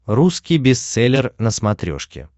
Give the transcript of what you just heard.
русский бестселлер на смотрешке